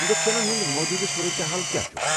انجیکشنن ہُنٛد موٗجوٗدٕ صورت حال کیٚا چھُ؟